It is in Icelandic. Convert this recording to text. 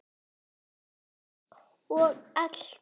Og allt var þetta vitaskuld engum að kenna nema sjálfum mér!